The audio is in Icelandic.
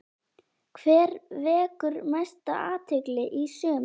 Hver vekur mesta athygli í sumar?